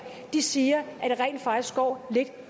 siger at det rent faktisk går lidt